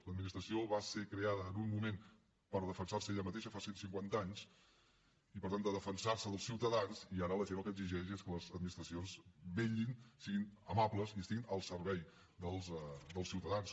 l’administració va ser creada en un moment per defensar se ella mateixa fa cent cinquanta anys i per tant per defensar se dels ciutadans i ara la gent el que exigeix és que les administracions els vetllin siguin amables i estiguin al servei dels ciutadans